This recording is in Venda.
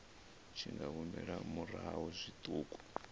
tshi nga humela murahu zwiṱuku